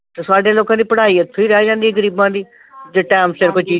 ਤੇ ਸਾਡੇ ਲੋਕਾਂ ਦੀ ਪੜ੍ਹਾਈ ਇਥੋਂ ਈ ਰਹਿ ਜਾਂਦੀ ਆ ਗਰੀਬਾਂ ਦੀ ਜੇ time ਸਿਰ ਕੋਈ ਚੀਜ਼।